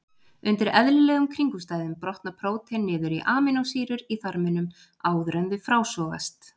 Undir eðlilegum kringumstæðum brotna prótein niður í amínósýrur í þarminum áður en þau frásogast.